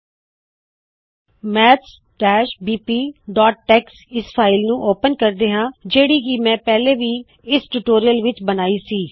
maths PDF tex maths bpਟੈਕਸ ਇਸ file ਨੂੰ ਓਪੇਨ ਕਰਦੇ ਹਾ ਜਿਹੜੀ ਕੀ ਮੈ ਪਹਿਲੇ ਹੀ ਇਸ ਟਯੂਟੋਰਿਅਲ ਲਈ ਬਣਾਈ ਹੈ